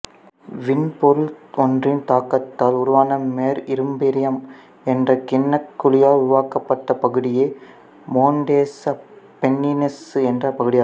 விண்பொருள் ஒன்றின் தாக்கத்தால் உருவான மேர் இம்பிரியம் என்ற கிண்ணக்குழியால் உருவாக்கப்பட்டப் பகுதியே மோன்டெசு அப்பென்னினசு என்ற பகுதியாகும்